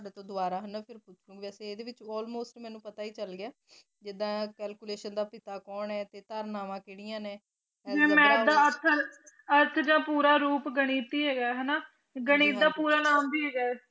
ਜਿਦਾ ਮਾਥ ਦਾ ਅਰਥ ਜਾ ਪੂਰਾ ਰੁਪ ਗਣਿਤ ਹੀ ਹੈਗਾ ਹਨਾ ਗਣਿਤ ਦਾ ਪੂਰਾ ਨਾਅ ਵੀ ਹੈਗਾ